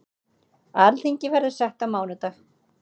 Alþingi verður sett á mánudag.